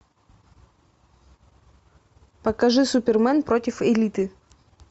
покажи супермен против элиты